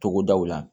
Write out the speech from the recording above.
Togodaw la